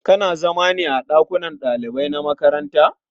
Kana zama ne a ɗakunan ɗalibai na makaranta?